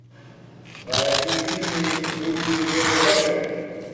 найди фильмик в духе мелодрамы